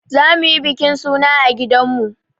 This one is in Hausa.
Za mu yi bikin suna a gidan mu.